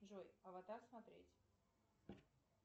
джой аватар смотреть